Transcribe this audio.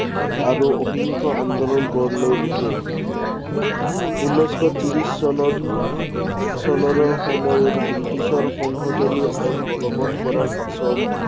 আৰু অহিংস আন্দোলন গঢ় লৈ উঠে। উনৈশ শ ত্ৰিশ চনত চনৰ সময়ত বৃটিছৰ সংশোধনীয় আইন বলৱৎ কৰাৰ পাছত